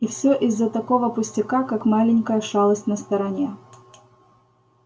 и все из-за такого пустяка как маленькая шалость на стороне